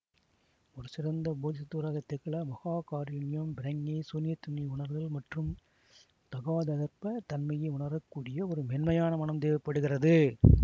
ஒரு சிறந்த போதிசத்துவராகத் திகழ மகா காருண்யம் பிரக்ஞை சூன்யத் தன்மையை உணருதல் மற்றும் ததாகதகர்ப தனமையை உணரக்கூடிய ஒரு மேன்மையான மனம் தேவை படுகிறது